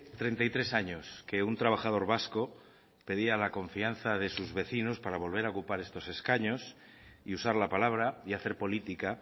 treinta y tres años que un trabajador vasco pedía la confianza de sus vecinos para volver a ocupar estos escaños y usar la palabra y hacer política